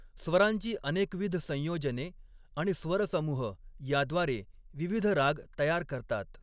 स्वरांची अनेकविध संयोजने आणि स्वरसमूह याद्वारे विविध राग तयार करतात.